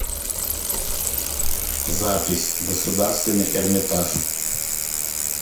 запись государственный эрмитаж